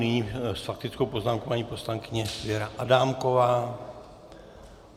Nyní s faktickou poznámkou paní poslankyně Věra Adámková.